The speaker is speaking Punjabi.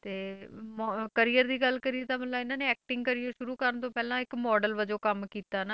ਤੇ ਮੋ~ career ਦੀ ਗੱਲ ਕਰੀਏ ਤਾਂ ਮਤਲਬ ਇਹਨਾਂ ਨੇ acting career ਸ਼ੁਰੂ ਕਰਨ ਤੋਂ ਪਹਿਲਾਂ ਇੱਕ model ਵਜੋਂ ਕੰਮ ਕੀਤਾ ਨਾ